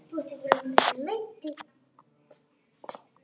Það gæti ekki verið verra.